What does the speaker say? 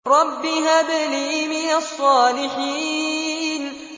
رَبِّ هَبْ لِي مِنَ الصَّالِحِينَ